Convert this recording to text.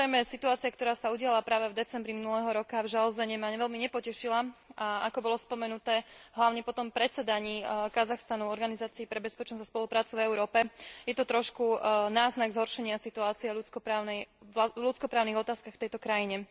Situácia, ktorá sa udiala práve v decembri minulého roka, v Žanaozene ma veľmi nepotešila a ako bolo spomenuté hlavne po predsedaní Kazachstanu v Organizácii pre bezpečnosť a spoluprácu v Európe je to trošku náznak zhoršenia situácie v ľudskoprávnych otázkach v tejto krajine.